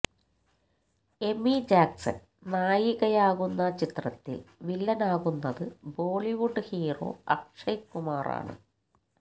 Amy Jackson നായികയാകുന്ന ചിത്രത്തില് വില്ലനാകുന്നത് ബോളിവുഡ് ഹീറോ അക്ഷയ് കുമാറാണ്